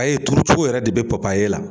A ye turucogo yɛrɛ de bɛ ye la